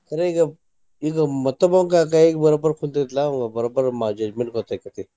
ಕರೆ ಈಗ ಈಗ ಮತ್ತೊಬ್ಬಾಂವ ಕೈಯಾಗ ಬರೋಬ್ಬರ ಕುಂತೈತಿಲಾ ಅವಂಗ ಬರೋಬ್ಬರ judgment ಗೊತ್ತ ಆಕ್ಕೇತಿ.